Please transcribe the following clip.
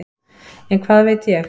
En hvað veit ég.